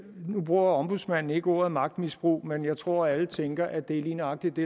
nu bruger ombudsmanden ikke ordet magtmisbrug men jeg tror at alle tænker at det er lige nøjagtig det